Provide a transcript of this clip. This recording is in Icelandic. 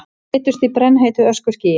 Létust í brennheitu öskuskýi